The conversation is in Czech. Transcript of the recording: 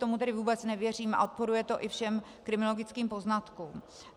Tomu tedy vůbec nevěřím a odporuje to i všem kriminologickým poznatkům.